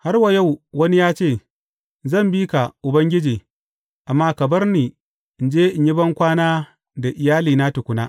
Har wa yau, wani ya ce, Zan bi ka, Ubangiji, amma ka bar ni in je in yi bankwana da iyalina tukuna.